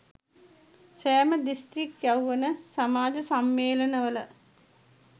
සෑම දිස්ත්‍රික් යෞවන සමාජ සම්මේලනවල